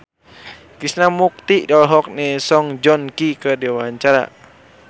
Krishna Mukti olohok ningali Song Joong Ki keur diwawancara